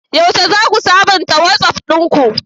Yaushe za ku sabunta Wasof ɗinku?